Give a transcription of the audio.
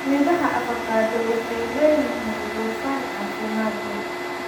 Midhaha avocado waxay leeyihiin dufan caafimaad leh.